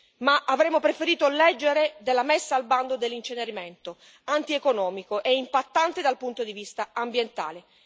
Ma avremmo preferito leggere della messa al bando dell'incenerimento antieconomico e impattante dal punto di vista ambientale.